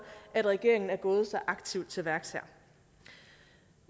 at regeringen er gået så aktivt til værks her